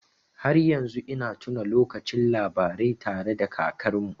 Har yanzu ina tuna lokacin labarai tare da kakarmu.